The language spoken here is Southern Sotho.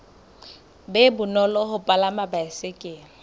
be bonolo ho palama baesekele